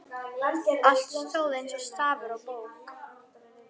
Allt stóð eins og stafur á bók.